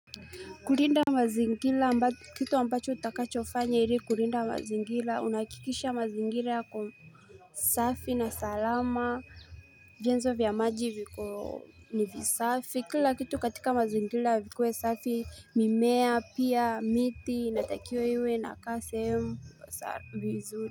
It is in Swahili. Kulinda mazingira, kitu ambacho utakachofanya ili kulinda mazingira, unahakikisha mazingira yako safi na salama, vienzo vya maji viko ni visafi, kila kitu katika mazingira vikuwe safi, mimea, pia, miti, inatakiwa iwe inakaa sehemu vizuri.